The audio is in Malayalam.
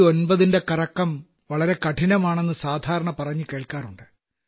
99ന്റെ കറക്കം വളരെ കഠിനമാണെന്നു സാധാരണ പറഞ്ഞുകേൾക്കാറുണ്ട്